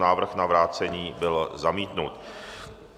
Návrh na vrácení byl zamítnut.